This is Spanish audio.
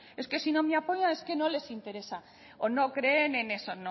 es que si no me apoyan es que no les interesa o no creen en eso